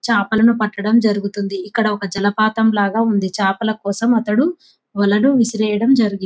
చేపలను పట్టడం జరుగుతుంది ఇక్కడ ఒక జలపాతం లాగా ఉంది చేపల కోసం అతడు వలన విసిరేయడం జరుగింది.